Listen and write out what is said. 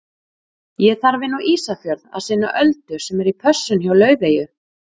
Ég þarf inn á Ísafjörð að sinna Öldu sem er í pössun hjá Laufeyju.